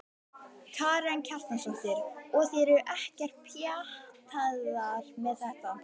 Karen Kjartansdóttir: Og þið eruð ekkert pjattaðar með þetta?